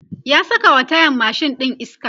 ya sakawa tayan mashin ɗin iska